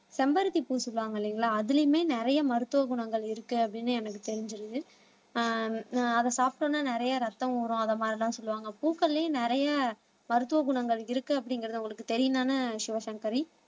செம்பருத்தி பூ சொல்லுவாங்க இல்லைங்களா அதிலேயுமே நிறைய மருத்துவ குணங்கள் இருக்கு அப்படின்னு எனக்கு தெரிஞ்சிருது ஆஹ் அதை சாப்பிடம்ன்னா நிறைய ரத்தம் ஊரும் அந்த மாதிரிலாம் சொல்லுவாங்க பூக்கள்லயும் நிறைய மருத்துவ குணங்கள் இருக்கு அப்படிங்கிறது உங்களுக்கு தெரியம் தானே சிவசங்கரி